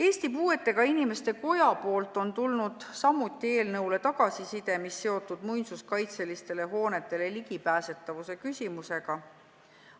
Eesti Puuetega Inimeste Kojalt on tulnud samuti eelnõule tagasiside, mis on seotud muinsuskaitseliste hoonete ligipääsetavusega.